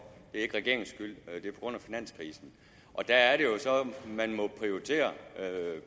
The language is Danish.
det er ikke regeringens skyld det er på grund af finanskrisen og der er det jo så man må prioritere